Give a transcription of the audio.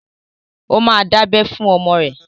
Ó ma dábẹ́ fún ọmọ ẹ!